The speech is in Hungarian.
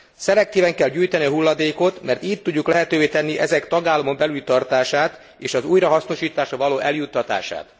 Szelektíven kell gyűjteni a hulladékot, mert így tudjuk lehetővé tenni ezek tagállamon belüli tartását és az újrahasznosításra való eljuttatását.